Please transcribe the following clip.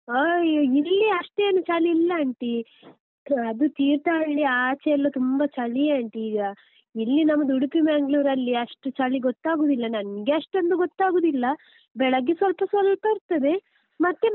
ಅಯ್ಯೋ ಇಲ್ಲಿ ಅಷ್ಟೇನು ಚಳಿ ಇಲ್ಲ aunty , ಅದು ತೀರ್ಥಹಳ್ಳಿ ಆಚೆ ಎಲ್ಲ ತುಂಬ ಚಳಿ aunty ಈಗ ಇಲ್ಲಿ ನಮ್ದು ಉಡುಪಿ Manglore ರಲ್ಲಿ ಅಷ್ಟು ಚಳಿ ಗೊತ್ತಾಗುದಿಲ್ಲ ನನ್ಗೆ ಅಷ್ಟೊಂದು ಗೊತ್ತಾಗುದಿಲ್ಲ ಬೆಳಗ್ಗೆ ಸ್ವಲ್ಪ ಸ್ವಲ್ಪ ಇರ್ತದೆ ಮತ್ತೆ.